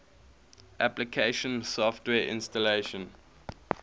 application software installation